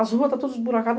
As ruas estão todas buracadas.